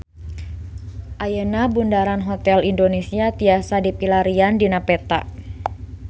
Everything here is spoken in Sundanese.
Ayeuna Bundaran Hotel Indonesia tiasa dipilarian dina peta